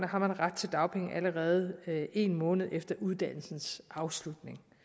har ret til dagpenge allerede en måned efter uddannelsens afslutning